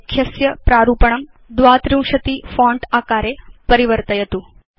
लेख्यस्य प्रारूपणं 32 फोंट आकारे परिवर्तयतु